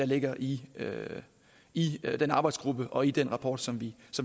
ligger i i den arbejdsgruppe og i den rapport som vi